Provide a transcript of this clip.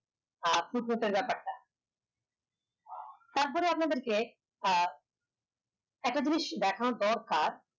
আর কিদরতের ব্যাপার টা তার পরে আপনাদের কে আহ একটা যিনিস দেখানো দরকার